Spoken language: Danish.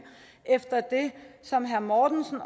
efter det som herre mortensen